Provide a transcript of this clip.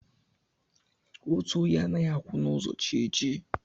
Otu onye anaghị akwụ n'ụzọ chi ejie